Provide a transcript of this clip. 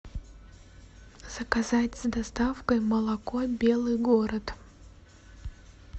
заказать с доставкой молоко белый город